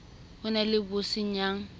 ho na le bo senyang